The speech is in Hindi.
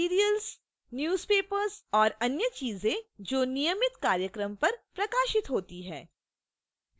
serials